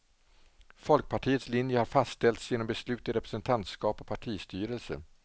Folkpartiets linje har fastställts genom beslut i representantskap och partistyrelse.